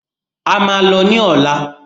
A máa lọ ní ọ̀lá.